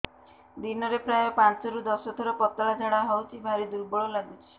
ଦିନରେ ପ୍ରାୟ ପାଞ୍ଚରୁ ଦଶ ଥର ପତଳା ଝାଡା ହଉଚି ଭାରି ଦୁର୍ବଳ ଲାଗୁଚି